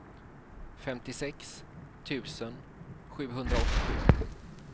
femtiosex tusen sjuhundraåttiosju